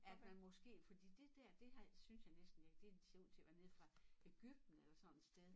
At man måske fordi det dér det har synes jeg næsten ikke det ser ud til at være nede fra Egypten eller sådan et sted